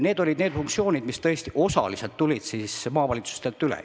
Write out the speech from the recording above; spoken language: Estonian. Need olid funktsioonid, mis tõesti osaliselt tulid maavalitsustelt üle.